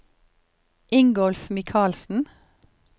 Ingolf Michaelsen